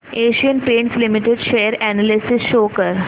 Asian Paints Limited share analysis show कर